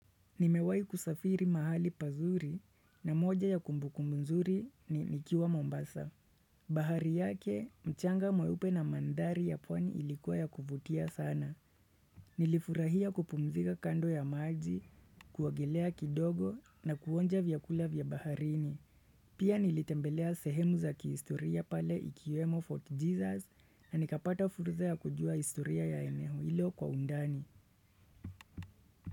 Nimewahi kusafiri mahali pazuri na moja ya kumbukumbu mzuri ni nikiwa Mombasa. Bahari yake, mchanga mweupe na madhari ya pwani ilikuwa ya kuvutia sana. Nilifurahia kupumzika kando ya maji, kuogelea kidogo na kuonja vyakula vya baharini. Pia nilitembelea sehemu za kihistoria pale ikiwemo Fort Jesus na nikapata fursa ya kujua historia ya eneo hilo kwa undani.